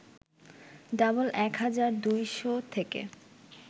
double ১ হাজার ২শ’ থেকে